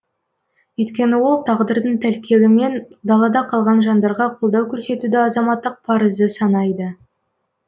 өйткені ол тағдырдың тәлкегімен далада қалған жандарға қолдау көрсетуді азаматтық парызы санайды